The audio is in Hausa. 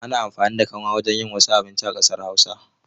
Ana amfani da kanwa wajen yin wasu abinci a ƙasar Hausa.